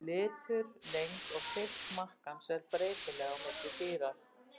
Litur, lengd og þykkt makkans eru breytileg á milli dýra.